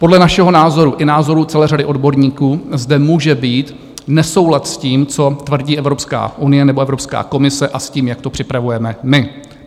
Podle našeho názoru i názoru celé řady odborníků zde může být nesoulad s tím, co tvrdí Evropská unie nebo Evropská komise, a s tím, jak to připravujeme my.